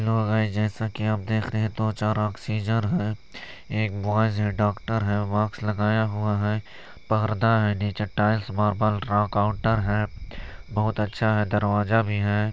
Hello guys जैसा की आप देख रहे है दो चार ऑक्सीजन है एक बॉयस है डॉक्टर है मास्क लगाया हुवा है परदा है निचे टाइल्स मार्बल काउंटर है बहुत अच्छा है दरवाजा भी है।